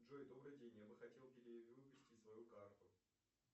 джой добрый день я бы хотел перевыпустить свою карту